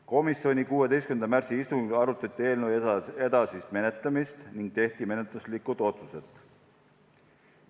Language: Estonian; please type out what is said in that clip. Komisjoni 16. märtsi istungil arutati eelnõu edasist menetlemist ning tehti menetluslikud otsused.